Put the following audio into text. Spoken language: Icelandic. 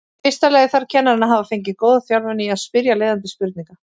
Í fyrsta lagi þarf kennarinn að hafa fengið góða þjálfun í að spyrja leiðandi spurninga.